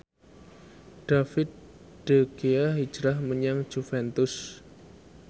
David De Gea hijrah menyang Juventus